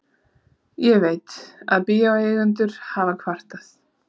Ég veit, að bíóeigendur hafa kvartað.